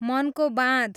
मनको बाँध